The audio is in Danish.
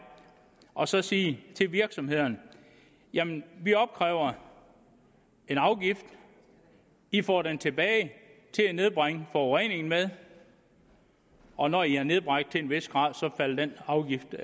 og så sige til virksomhederne jamen vi opkræver en afgift i få den tilbage til at nedbringe forureningen med og når i har nedbragt til en vis grænse falder den afgift